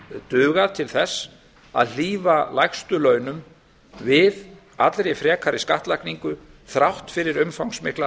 dugað til þess að hlífa lægstu launum við allri frekari skattlagningu þrátt fyrir umfangsmiklar